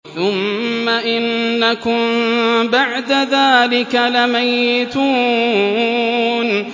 ثُمَّ إِنَّكُم بَعْدَ ذَٰلِكَ لَمَيِّتُونَ